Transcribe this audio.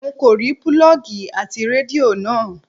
N kò rí púlọ́ọ́gì ti Rédíò náà.